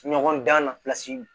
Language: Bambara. Ɲɔgɔndan na pilasi